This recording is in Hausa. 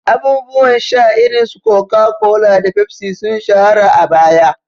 Abubuwan sha irin su Coca-Cola da Pepsi sun shahara a baya.